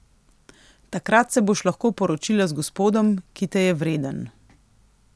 Takrat se boš lahko poročila z gospodom, ki te je vreden.